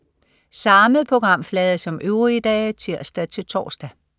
Samme programflade som øvrige dage (tirs-tors)